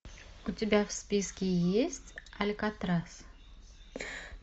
у тебя в списке есть алькатрас